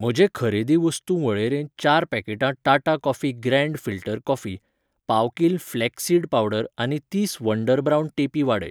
म्हजे खरेदी वस्तू वळेरेंत चार पॅकेटां Tata coffee grand filter coffee, पाव किल फ्लेक्स सीड पावडर आनी तीस वंडर ब्रावन टेपी वाडय.